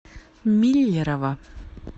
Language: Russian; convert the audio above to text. миллерово